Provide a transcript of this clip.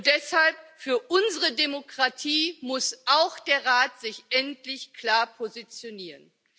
Deshalb Für unsere Demokratie muss auch der Rat sich endlich klar positionieren.